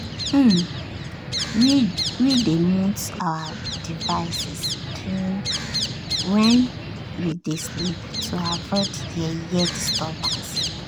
um we dey mute our devices during when we dey sleep to avoid yeye disturbance.